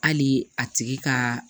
Hali a tigi ka